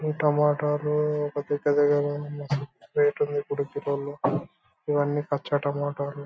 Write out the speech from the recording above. ఈ టమాటా లు పెద్ద పెద్ద గా ఉన్నాయి. రేట్ ఉంది ఇప్పుడు కిలో లో ఇవ్వన్నీ కచ్చా టమాటా లు